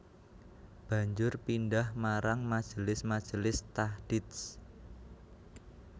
Banjur pindhah marang majelis majelis tahdits